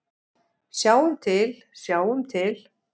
Sjáum til, sjáum til.